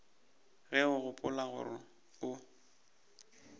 ge o gopola gore o